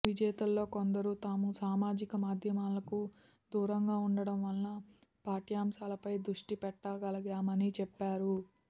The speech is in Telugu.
విజేతల్లో కొందరు తాము సామాజిక మాధ్యమాలకు దూరంగా ఉండటం వల్ల పాఠ్యాం శాలపై దృష్టి పెట్టగలిగామని చెప్పారు